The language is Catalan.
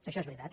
això és veritat